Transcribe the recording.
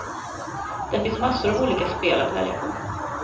Där finns massor av olika spel att välja på.